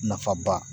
Nafaba